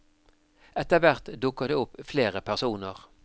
Etterhvert dukker det opp flere personer.